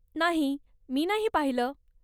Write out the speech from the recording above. नाही , मी नाही पाहिलं.